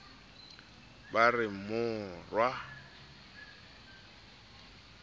ba re morwa o bohlile